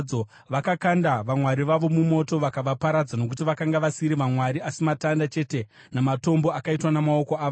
Vakakanda vamwari vavo mumoto vakavaparadza, nokuti vakanga vasiri vamwari asi matanda chete namatombo akaitwa namaoko avanhu.